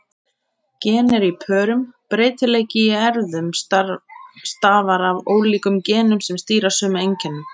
Gen eru í pörum: Breytileiki í erfðum stafar af ólíkum genum sem stýra sömu einkennum.